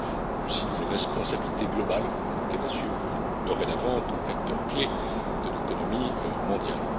mais aussi d'une responsabilité globale qu'elle assume dorénavant en tant qu'acteur clé de l'économie mondiale.